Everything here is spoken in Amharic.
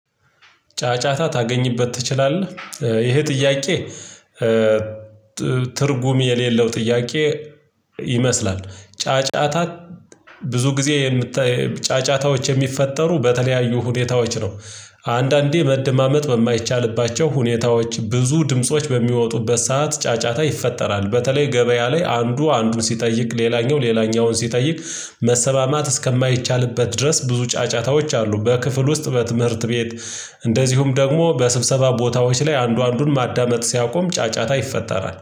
ጫጫታ ታገኝበት ትችላለህ? ይሄ ጥያቄ ትርጉም የሌለው ጥያቄ ይመስላል ጫጫታ ብዙ ጊዜ የምት ጫጫታዎች የሚፈጠሩ በተለያዩ ሁኔታዎች ነው አንዳንዴ መደማመጥ በማይቻልባቸው ሁኔታዎች ብዙ ድምጾች በሚወጡበት ሰዓት ጫጫታ ይፈጠራል በተለይ ገበያ ላይ አንዱ አንዱን ሲጠይቅ ሌላኛው ሌላኛውን ሲጠይቅ መሰማማት እስከማይቻልበት ድረስ ብዙ ጫጫታዎች አሉ በክፍል ውስጥ በትምህርት ቤት እንደዚሁም ደግሞ በስብሰባ ቦታዎች ላይ አንዱ አንዱን ማዳመጥ ሲያቆም ጫጫታ ይፈጠራል